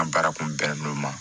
N ka baara kun bɛn n'o ma